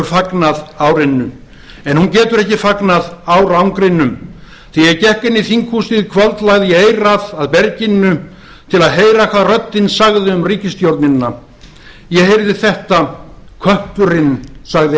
fagnað árinu en hún getur ekki fagnað árangrinum þegar ég gekk inn í þinghúsið í kvöld lagði ég eyrað að berginu til að heyra hvað röddin segði um ríkisstjórnina röddin sagði skýrum rómi kötturinn sagði